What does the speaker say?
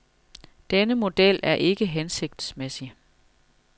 Denne model er ikke hensigtsmæssig.